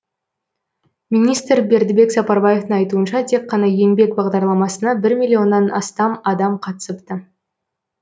министр бердібек сапарбаевтың айтуынша тек қана еңбек бағдарламасына бір миллионнан астам қатысыпты